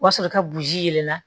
O b'a sɔrɔ ka burusi la